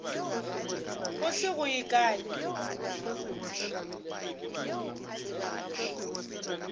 go se go ye kae